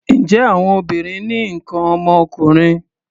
Ǹjẹ́ àwọn obìnrin ní nǹkan ọmọkùnrin?